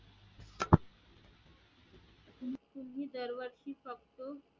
तुम्ही दर वर्षी फक्त